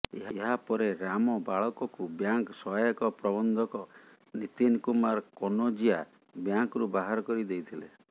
ଏହାପରେ ରାମବାଳକକୁ ବ୍ୟାଙ୍କ ସହାୟକ ପ୍ରବନ୍ଧକ ନିତିନ କୁମାର କନୋଜିୟା ବ୍ୟାଙ୍କରୁ ବାହାର କରି ଦେଇଥିଲେ